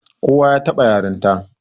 Kowa ya taɓa yaranta